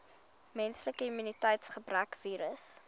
menslike immuniteitsgebrekvirus